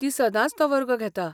ती सदांच तो वर्ग घेता.